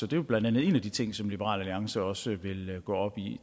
det er blandt andet en af de ting som liberal alliance også vil gå op i